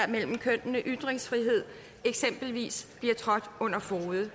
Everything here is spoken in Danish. mellem kønnene og ytringsfrihed eksempelvis bliver trådt under fode